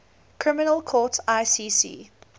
criminal court icc